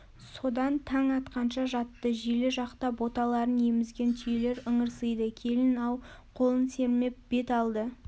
содан таң атқанша жатты желі жақта боталарын емізген түйелер ыңырсиды келін-ау қолын сермеп бет алды